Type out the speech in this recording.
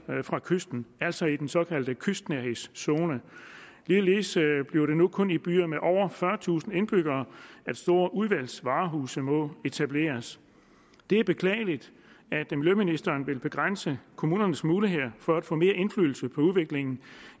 fra kysten altså i den såkaldte kystnærhedszone ligeledes bliver det nu kun i byer med over fyrretusind indbyggere at store udvalgsvarehuse må etableres det er beklageligt at miljøministeren vil begrænse kommunernes muligheder for at få mere indflydelse på udviklingen